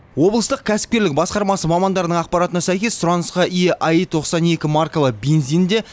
облыстық кәсіпкерлік басқармасы мамандарының ақпаратына сәйкес сұранысқа ие аи тоқсан екі маркалы бензин де